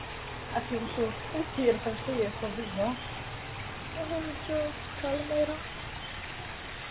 Hann var sjö ára.